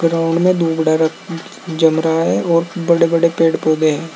Ground में जम रहा है और बड़े बड़े पेड़ पौधे हैं।